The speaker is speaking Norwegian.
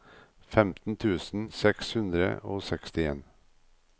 femten tusen seks hundre og sekstien